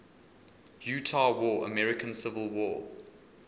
utah war american civil war